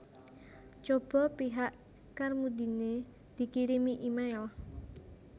Cobo pihak Carmudine dikirimi email